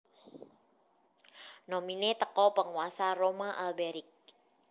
nominee teko Penguasa Roma Alberic